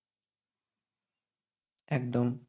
একদম